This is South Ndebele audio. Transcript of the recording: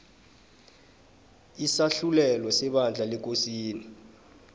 isahlulelo sebandla lekosini